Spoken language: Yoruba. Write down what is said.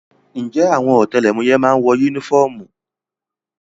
Ǹjẹ́ àwọn ọ̀tẹlẹ̀múyẹ́ má ń wọ yúnífọ́ọ̀mù?